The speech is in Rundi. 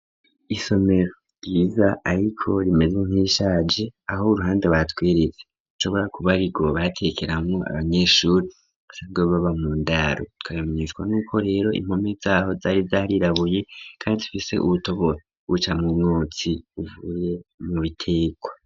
Isomero ryiza ariko rimeze nk'irishaje aho uruhande batwiritse nshobora kuba ariko batekeranwo abanyeshuri asabwe baba mu ndaro tukabimetswa n'uko rero impomi zaho zari zarirabuye kandi tufise ubutobo buca mu mwotsi uvuye mu biteko.